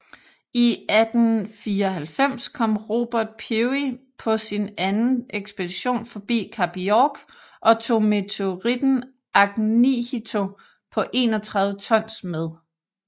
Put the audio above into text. I 1894 kom Robert Peary på sin anden ekspedition forbi Kap York og tog meteoritten Ahnighito på 31 tons med